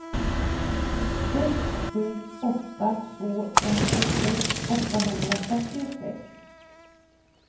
sex sju åtta två femtiosex åttahundrafyrtiosex